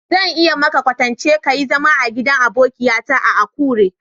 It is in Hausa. Zan iya yi maka kwatanci ka yi zama a'gidan abokiya ta a'Akure.